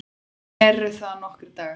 Eru það nokkrir dagar?